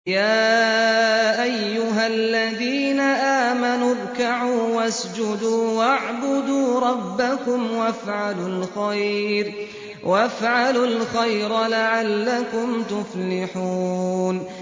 يَا أَيُّهَا الَّذِينَ آمَنُوا ارْكَعُوا وَاسْجُدُوا وَاعْبُدُوا رَبَّكُمْ وَافْعَلُوا الْخَيْرَ لَعَلَّكُمْ تُفْلِحُونَ ۩